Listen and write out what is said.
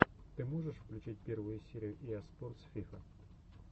ты можешь включить первую серию иа спортс фифа